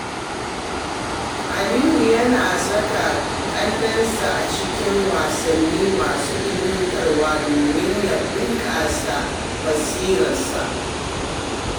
Aliyu yana saka kaninsa a cikin wasanni masu ilmantarwa domin ya bunkasa basirarsa.